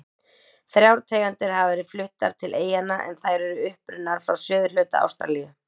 Þrjár tegundir hafa verið fluttar til eyjanna en þær eru upprunnar frá suðurhluta Ástralíu.